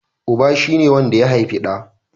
Uba shi ne wanda ya haifi ɗa